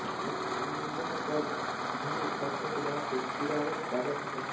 सलुम्बर पर भील शासकों के बाद से चूंडावत राजाओं का शासन रहा